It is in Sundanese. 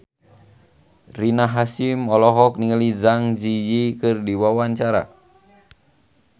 Rina Hasyim olohok ningali Zang Zi Yi keur diwawancara